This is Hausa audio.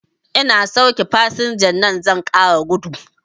Ina sauke fasinjar nan zan ƙara gudu